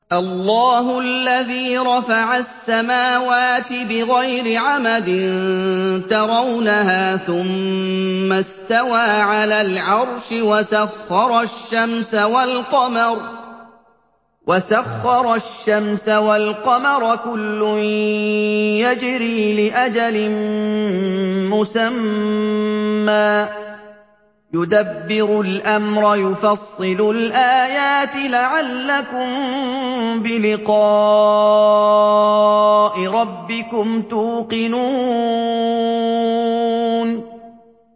اللَّهُ الَّذِي رَفَعَ السَّمَاوَاتِ بِغَيْرِ عَمَدٍ تَرَوْنَهَا ۖ ثُمَّ اسْتَوَىٰ عَلَى الْعَرْشِ ۖ وَسَخَّرَ الشَّمْسَ وَالْقَمَرَ ۖ كُلٌّ يَجْرِي لِأَجَلٍ مُّسَمًّى ۚ يُدَبِّرُ الْأَمْرَ يُفَصِّلُ الْآيَاتِ لَعَلَّكُم بِلِقَاءِ رَبِّكُمْ تُوقِنُونَ